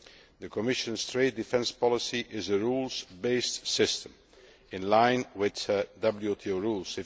The Commission's trade defence policy is a rules based system in line with WTO rules.